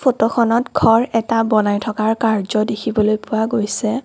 ফটোখনত ঘৰ এটা বনাই থকাৰ কাৰ্য্য দেখিবলৈ পোৱা গৈছে।